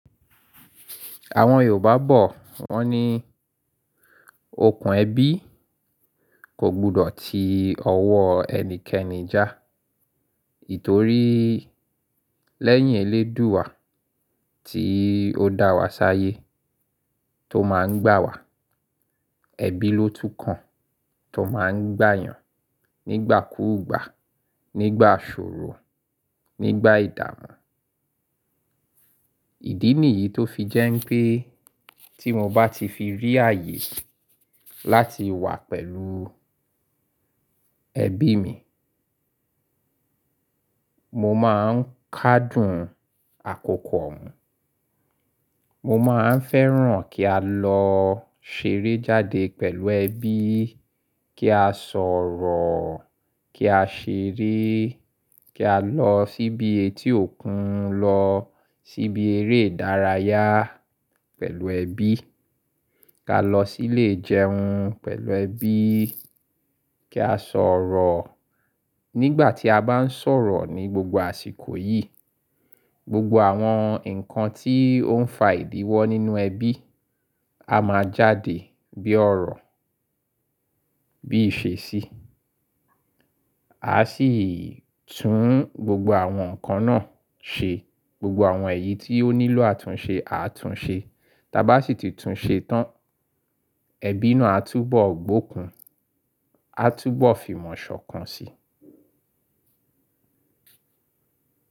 Àwọn Yorùbá bọ̀, wọ́n ní okùn ẹ̀bí kò gbọdọ̀ ti ọwọ́ ẹnikẹ́ni jà tórí lẹ́yìn Elédùà tí ó dá wa ṣáyé tó máa ń gbà wá. Ẹbí ló tún kàn tó máa ń gbà yàn nígbà kúùgbà, nígbà ṣòro, nígbà ìdààmú. Ìdí nìyí tó fi jẹ́ ń pé tí mo bá ti fi rí ààyè láti wà pẹ̀lú ẹbí mi, mo máa ń kádùn àkókò ò òun. Mo máa ń fẹ́ràn kí a lọ ṣeré jáde pẹ̀lú ẹbí, kí a sọ̀rọ̀, kí a ṣeré, kí a lọ síbi etí òkun lọ, síbi eré ìdárayá pẹ̀lú ẹbí, ká lọ sílé ìjẹun pẹ̀lú ẹbí, kí a sọ̀rọ̀. Nígbà tí a bá ń sọ̀rọ̀ ní gbogbo àsìkò yìí, gbogbo àwọn nǹkan tí ó ń fa ìdíwọ nínú ẹbí a máa jáde bí ọ̀rọ̀ bí ìṣesí. A sì tún gbogbo àwọn nǹkan náà ṣe. Gbogbo àwọn èyí tí ó nílò àtúnṣe, àtúnṣe. Tábá sì ti tún ṣe tán, ẹbí náà á túbọ̀ gbokùn, á túbọ̀ fi mọ̀ ṣọ̀kan si.